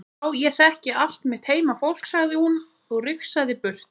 Já ég þekki allt mitt heimafólk, sagði hún og rigsaði burt.